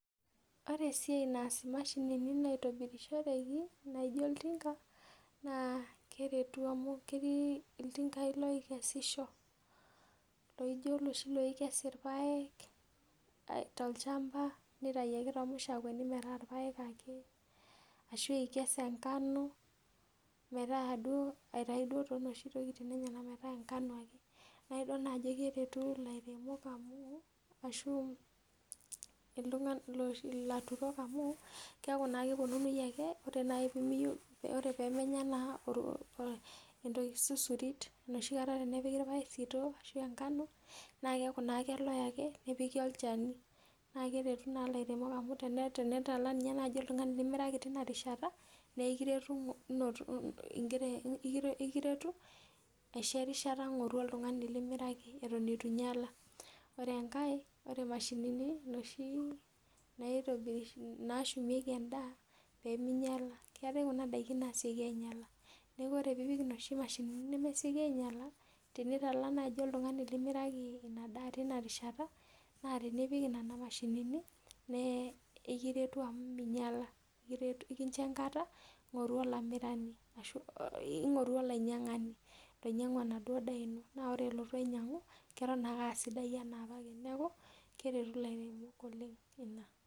Ore esiai naas imashinini naitobirishoreki naaijo oltinga naa keretu amu ketii iltingai lookesisho, laijo oloi loikes irpaek, tolchamba nitau ake toomushakweni metaa irpaek ake ashu ikes engano metaa duo aitai duo too noshi tokiting enyenak metaa engano ake. Naidol naa ajo keretu ilairemok amu, ashu ilaturok amu keeku naa kepwonunui ake, ore naai piimiyieu, ore pee menya naa entoki susurik enoshi kata epiki irpaek sitoo ashu engano na keeku naa keloe ake nepiki olchani naa keretu naa ilairemok amu tenitala ninye naaji oltung'ani limiraki tina rishata naa kiretu ing'oru, kiretu aisho erishata ing'oru oltung'ani limiraki eton etu inyala. Ore enkae, ore imashinini inoshi naashumieki endaa peeminyala, keetae kuna daiki naasioki ainyala neeku ore piipik inoshi mashinini nemesioki ainyala, tenitala naaji oltung'ani limiraki ina daa tina rishata naa tenipik nena mashinini naa ikiretu amu minyala, ikiretu nekincho erishata ng'oru olamirani ashu ing'oru olainyang'ani loinyang'u enaduo daa ino. Naa ore elotu ainyang'u, eton ake aa sidai enaa opake. Neeku, keretu ilairemok oleng ina.